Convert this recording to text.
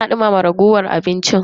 Tana duma ragowar abinci ta.